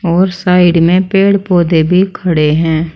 और साइड में पेड़ पौधे भी खड़े हैं।